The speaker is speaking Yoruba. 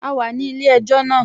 A wà ní ilé-ẹjọ́ náà